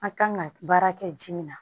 An kan ka baara kɛ ji min na